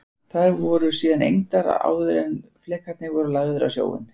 Þær voru síðan egndar áður en flekarnir voru lagðir á sjóinn.